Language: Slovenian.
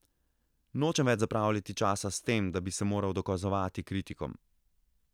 Nočem več zapravljati časa s tem, da bi se moral dokazovati kritikom.